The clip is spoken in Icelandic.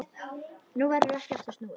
Nú verður ekki aftur snúið.